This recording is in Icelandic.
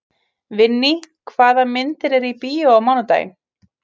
Vinný, hvaða myndir eru í bíó á mánudaginn?